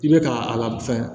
I bɛ ka a la fɛn